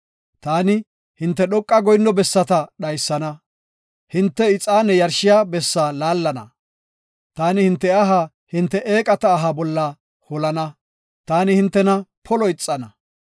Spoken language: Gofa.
Taani, hinte dhoqa goyinno bessata dhaysana; hinte ixaane yarshiya bessaa laallana. Taani hinte aha hinte eeqata aha bolla holana; taani hintena polo ixana.